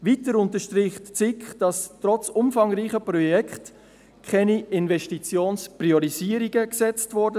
Weiter unterstreicht die SiK, dass trotz umfangreicher Projekte keine Investitionspriorisierungen vorgenommen wurden.